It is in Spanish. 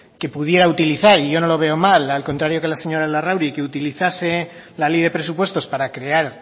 que pudiera utilizar y yo no la veo mal al contrario que la señora larrauri que utilizase la ley de presupuestos para crear